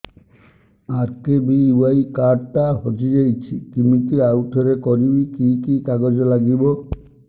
RKBY card ଟା ହଜିଯାଇଛି କିମିତି ଆଉଥରେ କରିବି କି କି କାଗଜ ଲାଗିବ